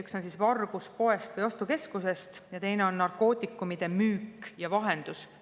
Need on vargused poest või ostukeskusest ja teine on narkootikumide müük ja vahendus.